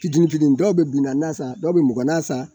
Fitinin fitiini, dɔw bɛ bi naani na san, dɔw bɛ